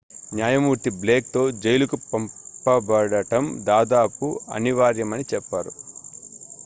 "న్యాయమూర్తి బ్లేక్‌తో జైలుకు పంపబడటం "దాదాపు అనివార్యమని" చెప్పారు.